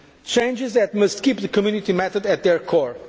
to the Treaty changes that must keep the Community method